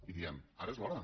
i diem ara és l’hora